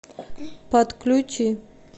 подключи